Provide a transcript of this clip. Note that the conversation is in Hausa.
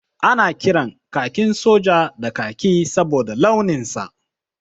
Ana kiran kakin soja da kaki saboda launin sa.